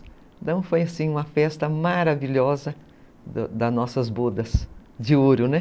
Então foi uma festa maravilhosa das nossas bodas de ouro.